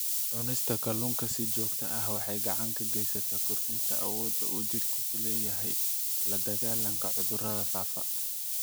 Cunista kalluunka si joogto ah waxay gacan ka geysataa kordhinta awoodda uu jidhku u leeyahay la-dagaallanka cudurrada faafa.